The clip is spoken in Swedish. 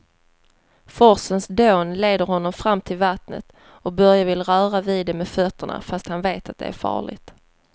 Forsens dån leder honom fram till vattnet och Börje vill röra vid det med fötterna, fast han vet att det är farligt.